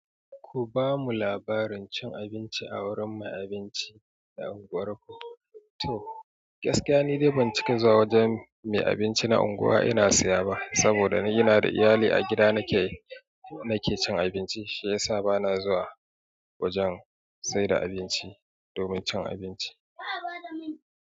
Ku ba mu labarin cin abinci a wurin mai abinci na unguwar ku. To, gaskiya ni dai ban cika zuwa wajen mai abinci na unguwa ina siya ba saboda ni ina da iyali a gida nake, nake cin abinci shi yasa bana zuwa wajen saida abinci domin cin abinci. Fada min.